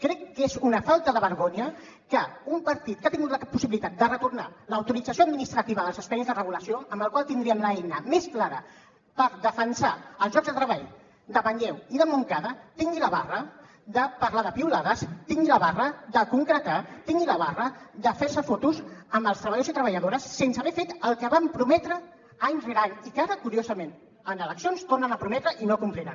crec que és una falta de vergonya que un partit que ha tingut la possibilitat de retornar l’autorització administrativa dels expedients de regulació amb la qual cosa tindríem l’eina més clara per defensar els llocs de treball de manlleu i de montcada tingui la barra de parlar de piulades tingui la barra de dir concretar tingui la barra de fer se fotos amb els treballadors i treballadores sense haver fet el que van prometre any rere any i que ara curiosament en eleccions tornen a prometre i no compliran